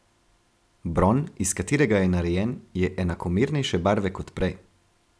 Bron, iz katerega je narejen, je enakomernejše barve kot prej.